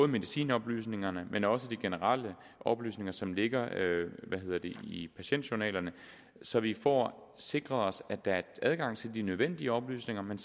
medicinoplysningerne men også de generelle oplysninger som ligger i patientjournalerne så vi får sikret os at der er adgang til de nødvendige oplysninger men